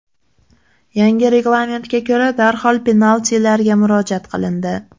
Yangi reglamentga ko‘ra, darhol penaltilarga murojaat qilindi.